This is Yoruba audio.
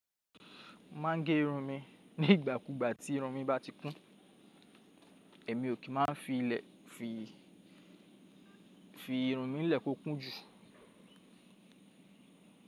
Mo máa ń gé irun mi nígbàkugbà tí irun mi bá ti kún, èmi ò kí n má a fi irun mi lẹ̀ kó kún jù.